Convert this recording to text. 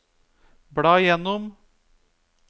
bla gjennom